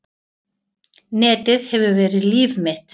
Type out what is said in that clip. Netið hefur verið líf mitt.